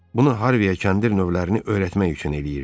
Bunu Harviyə kəndir növlərini öyrətmək üçün eləyirdi.